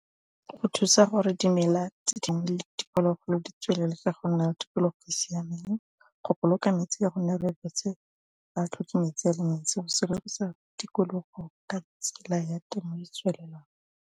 Go thusa gore dimela tse dingwe diphologolo di tswelele tsa go nna le tikologo e e siameng go boloka metsi tikologo ka tsela ya temo e e tswelelang.